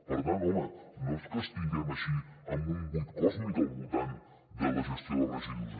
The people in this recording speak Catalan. per tant home no és que estiguem així en un buit còsmic al voltant de la gestió de residus